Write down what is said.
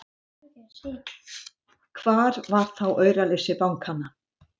Hvar var þá auraleysi bankanna!